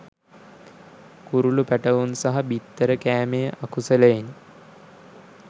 කුරුළු පැටවුන් සහ බිත්තර කෑමේ අකුසලයෙනි.